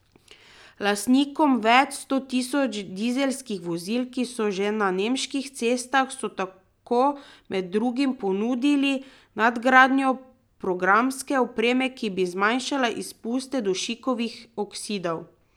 Lastnikom več sto tisoč dizelskih vozil, ki so že na nemških cestah, so tako med drugim ponudili nadgradnjo programske opreme, ki bi zmanjšala izpuste dušikovih oksidov.